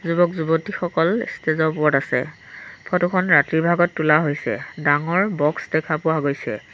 যুৱক যুৱতীসকল ষ্টেজৰ ওপৰত আছে ফটোখন ৰাতিৰ ভাগত তোলা হৈছে ডাঙৰ বক্স দেখা পোৱা গৈছে।